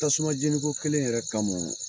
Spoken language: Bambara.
Tasuma jɛnniko kelen yɛrɛ kama